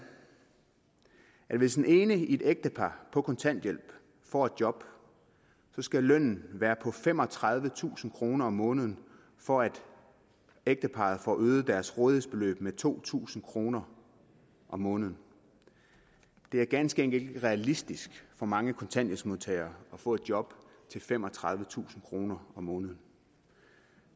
at hvis den ene i et ægtepar på kontanthjælp får et job skal lønnen være på femogtredivetusind kroner om måneden for at ægteparret får øget deres rådighedsbeløb med to tusind kroner om måneden det er ganske enkelt ikke realistisk for mange kontanthjælpsmodtagere at få et job til femogtredivetusind kroner om måneden